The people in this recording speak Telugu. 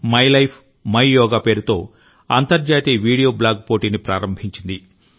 మై లైఫ్ మై యోగా పేరుతో అంతర్జాతీయ వీడియో బ్లాగ్ పోటీని ప్రారంభించింది